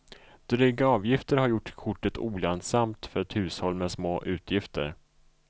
Dryga avgifter har gjort kortet olönsamt för ett hushåll med små utgifter.